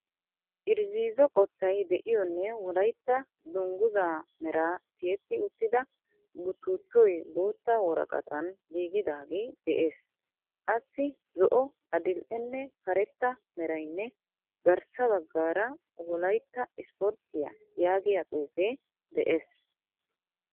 irzziizo qottay de'iyonne wolayitta dungguzaa meraa tiyetti uttida buttuttooyi bootta woraqatan giigidaagee de'ees. Assi zo'o, adil"enne karetta merayinne garssa baggaara wolayitta ispporttiya yaagiya xuufe de'ees.